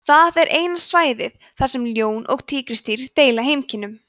það er eina svæðið þar sem ljón og tígrisdýr deila heimkynnum